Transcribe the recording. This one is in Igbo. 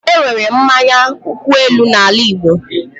Enwere mmanya nkwu elu na ala Igbo